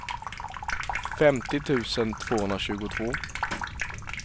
femtio tusen tvåhundratjugotvå